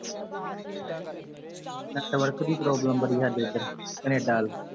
network ਦੀ problem ਬੜੀ ਸਾਡੇ ਇੱਧਰ, ਕੈਨੇਡਾ ਵੱਲ